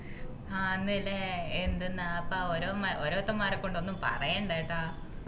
ആഹ് ന്ന് അല്ലെ എന്തിന്നപ്പാ ഓരോരുത്തന്മാരെക്കൊണ്ട് ഒന്നും പറയണ്ട ട്ടാ